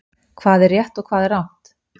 Hvað er rétt og hvað er rangt?